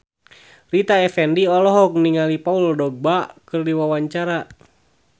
Rita Effendy olohok ningali Paul Dogba keur diwawancara